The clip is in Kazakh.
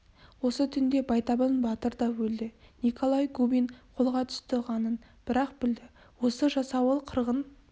осы түнде байтабын батыр да өлді николай губин қолға түсті ғанын бір-ақ білді осы жасауыл қырғын